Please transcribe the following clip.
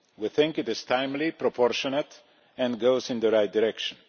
We think it is timely, proportionate and goes in the right direction.